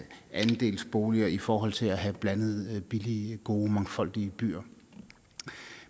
andelsboliger i forhold til at have blandede billige gode mangfoldige byer